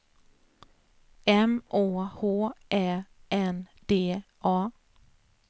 M Å H Ä N D A